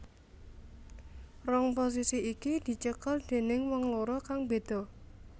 Rong posisi iki dicekel déning wong loro kang beda